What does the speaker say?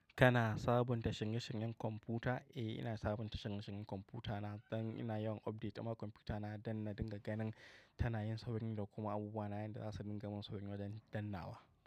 Kana sabunta shinge-shingen kwamfuta? Eh ina sabunta shinge-shingen kwamfutana don ina yawan update ma kwamfutana don na dinga ganin tana yin sauri da kuma abubuwa na yanda zasu dinga mun sauri wajen dannnawa.